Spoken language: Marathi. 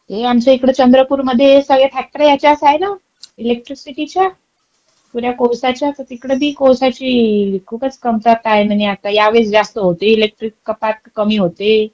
हे आमच्या इकडे चंद्रपूर मध्ये सगळ्या फॅक्टऱ्या ह्याच्यात आहे ना इलेक्ट्रिसिटीच्या. पुऱ्या कोळसाच्या तर तिकडे बी कोळशाची खूपच कंपात आहे म्हणे आता. यावेळेस जास्त होते इलेक्ट्रिक कपात का कमी होते?